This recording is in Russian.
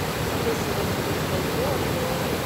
какой сегодня курс бальбоа к доллару